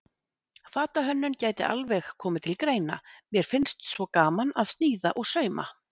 Fatahönnun gæti alveg komið til greina, mér finnst svo gaman að sníða og sauma.